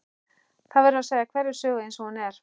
Það verður að segja hverja sögu eins og hún er.